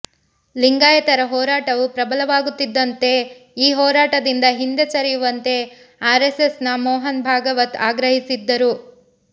ಲಿಂಗಾಯತರ ಹೋರಾಟವು ಪ್ರಬಲವಾಗುತ್ತಿದ್ದಂತೆ ಈ ಹೋರಾಟದಿಂದ ಹಿಂದೆ ಸರಿಯುವಂತೆ ಆರೆಸ್ಸೆಸ್ನ ಮೋಹನ್ ಭಾಗವತ್ ಆಗ್ರಹಿಸಿದ್ದರು